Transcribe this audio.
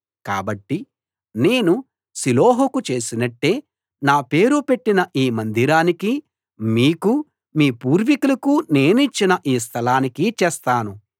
కాబట్టి నేను షిలోహుకు చేసినట్టే నా పేరు పెట్టిన ఈ మందిరానికీ మీకూ మీ పూర్వికులకూ నేనిచ్చిన ఈ స్థలానికీ చేస్తాను